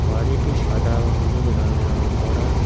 বাড়িটি সাদা ও হলুদ রঙে রং করা।